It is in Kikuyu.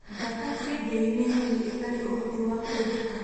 Mbata kĩengei nĩ nyoni ĩtarĩ ũhoti wa kũmbũka.